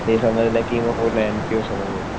ते समजलं कि पूर्ण एन पी ओ समजेल